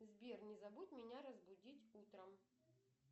сбер не забудь меня разбудить утром